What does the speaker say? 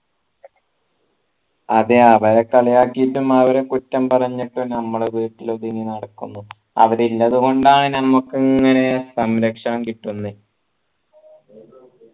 അതെ അവരെ കളിയാക്കീട്ടും അവരെ കുറ്റം പറഞ്ഞിട്ടും ഞമ്മളത്‌ നടക്കുന്നു അവര് ഇഞ്ഞത് കൊണ്ടാണ് ഞമ്മക്ക് ഇങ്ങനെ സംരക്ഷണം കിട്ടുന്നെ